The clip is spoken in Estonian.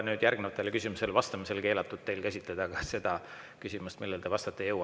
Nüüd järgmistele küsimustele vastamisel ei ole teil keelatud käsitleda ka seda küsimust, millele te praegu vastata ei jõua.